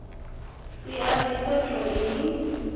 si a ḓivhe toe ni